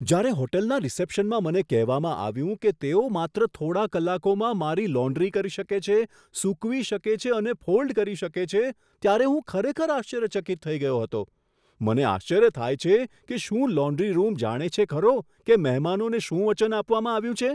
જ્યારે હોટલના રિસેપ્શનમાં મને કહેવામાં આવ્યું કે તેઓ માત્ર થોડા કલાકોમાં મારી લોન્ડ્રી કરી શકે છે, સૂકવી શકે છે અને ફોલ્ડ કરી શકે છે ત્યારે હું ખરેખર આશ્ચર્યચકિત થઈ ગયો હતો. મને આશ્ચર્ય થાય છે કે શું લોન્ડ્રી રૂમ જાણે છે ખરો કે મહેમાનોને શું વચન આપવામાં આવ્યું છે.